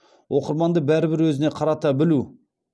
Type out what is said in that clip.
оқырманды бәрібір өзіне қарата білу